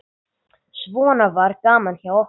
Svona var gaman hjá okkur.